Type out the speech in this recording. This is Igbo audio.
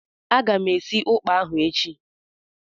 Aga m esi ụkpà ahụ echi.